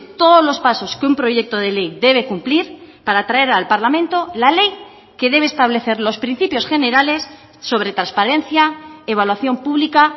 todos los pasos que un proyecto de ley debe cumplir para traer al parlamento la ley que debe establecer los principios generales sobre transparencia evaluación pública